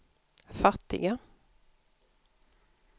fattiga